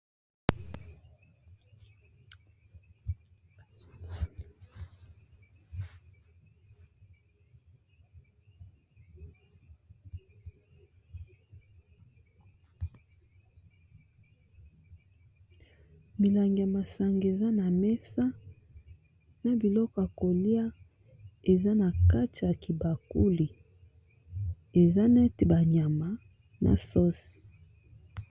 Milangi ya masanga eza na mesa na biloko ya kolia eza na kati ya kibakuli eza nete banyama na sosi.